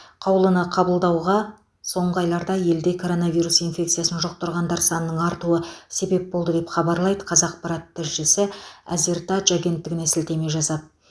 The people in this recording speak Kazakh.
қаулыны қабылдауға соңғы айларда елде коронавирус инфекциясын жұқтырғандар санының артуы себеп болды деп хабарлайды қазақпарат тілшісі әзертадж агенттігіне сілтеме жасап